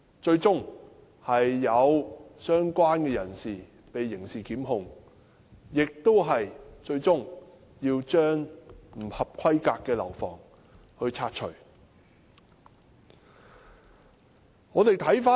最終相關人士被刑事檢控，最後更要將不合規格的樓房拆除。